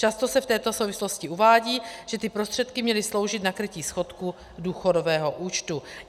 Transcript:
Často se v této souvislosti uvádí, že ty prostředky měly sloužit na krytí schodku důchodového účtu.